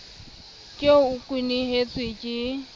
ke eo o kwenehetswe ke